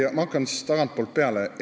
Ma hakkan tagantpoolt peale.